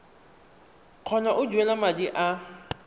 kgona go duela madi a